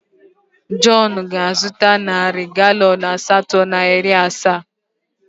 Jọn ga-azụta narị galọn asatọ na iri asaa.